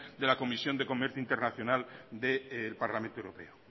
de la comisión de comercio internacional del parlamento europeo